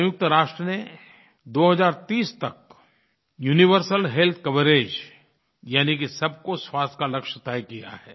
संयुक्त राष्ट्र ने 2030 तक यूनिवर्सल हेल्थ कवरेज यानि कि सबको स्वास्थ्य का लक्ष्य तय किया है